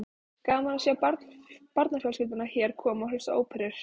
Gaman að sjá barnafjölskyldurnar hér koma og hlusta á óperur.